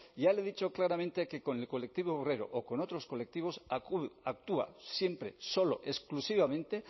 ya le he dicho claramente que con el colectivo obrero o con otros colectivos actúa siempre solo exclusivamente